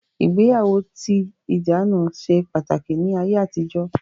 Ìgbéyàwó tí ìdáná ṣe pàtàkì ní ayé àtijó